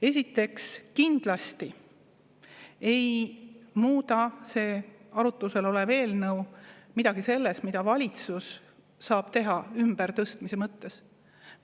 Esiteks, kindlasti ei muuda arutluse all olev eelnõu midagi selles, mida valitsus saab teha ümbertõstmise mõttes.